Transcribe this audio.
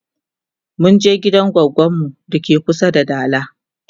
munje gidan goggon mu dake kusa da dala